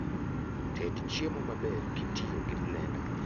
Ted chiemo maber kitiyo gi blenda